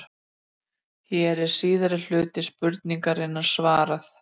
Hér er síðari hluta spurningarinnar svarað.